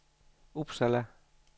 Uppsala